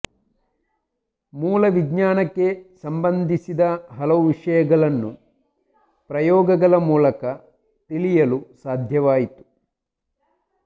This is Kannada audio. ಮೂಲವಿಜ್ಞಾನಕ್ಕೆ ಸಂಬಂಧಿಸಿದ ಹಲವು ವಿಷಯಗಳನ್ನು ಪ್ರಯೋಗಗಳ ಮೂಲಕ ತಿಳಿಯಲು ಸಾಧ್ಯವಾಯಿತು